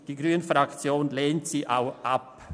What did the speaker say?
Die grüne Fraktion lehnt die Massnahme ab.